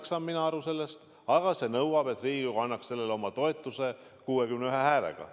Nii saan mina aru sellest, aga see nõuab, et Riigikogu annaks sellele oma toetuse 61 häälega.